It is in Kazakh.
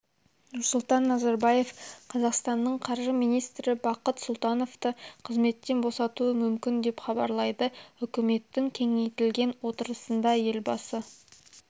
нұрсұлтан назарбаев қазақстанның қаржы министрі бақыт сұлтановты қазметтен босатуы мүмкін деп хабарлайды үкіметтің кеңейтілген отырысында елбасы